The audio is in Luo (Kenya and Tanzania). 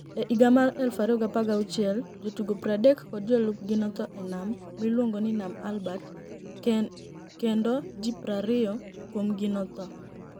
E higa mar 2016 , jotugo 30 kod jolupgi notho e niam miluonigo nii niam Albert kenido ji 20 kuomgi notho.